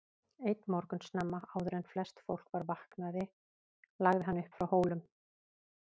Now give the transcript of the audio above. Einn morgun snemma, áður en flest fólk var vaknaði lagði hann upp frá Hólum.